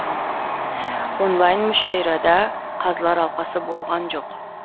онлайн мүшәйрада қазылар алқасы болған жоқ